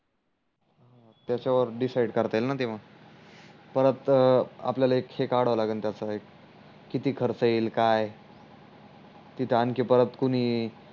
त्याचवर decide करता येईल न तेव्हा परत आल्याला ही काडव लागेल त्याचा एक किती खर्च येईल काय तित आणखी परत कुणी